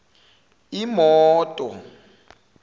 imoto